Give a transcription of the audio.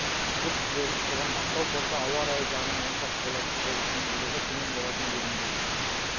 жүк жіберіліп тұрған ақтау порты ауа райы жағынан онша қолайсыз болып тиімділігі төмен болатын делінген